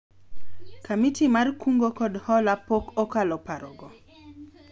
komiti mar kungo kod hola pok okalo paro go